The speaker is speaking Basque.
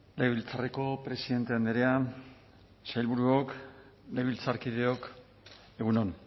legebiltzarreko presidente andrea sailburuok legebiltzarkideok egun on